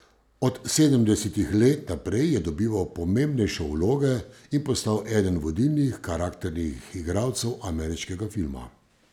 Od sedemdesetih let naprej je dobival pomembnejše vloge in postal eden vodilnih karakternih igralcev ameriškega filma.